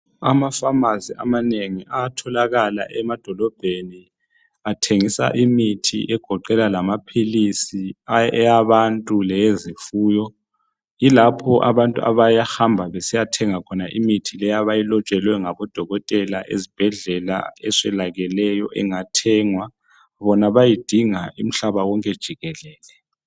Emaphamacy amanengi ayatholakala emadolobheni athengisa imithi egoqela lamapills awabantu lawe zifuyo yikho lapha abantu abahamba besiyathenga khona imithi le abayilotshelwe ngodokotela ezibhedlela eswelakeleyo engathengwa bona bayayidinga umhlaba wonke jikelele